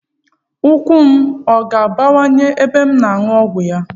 Ukwu m ọ ga-ebuwanye ibu ma m ñụọ ọgwụ a?